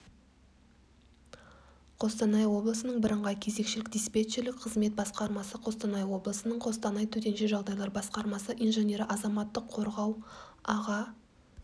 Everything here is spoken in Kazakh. қостанай облысының бірыңғай кезекшілік-диспетчерлік қызмет басқармасы қостанай облысының қостанай төтенше жағдайлар басқармасы инженері азаматтық қорғау аға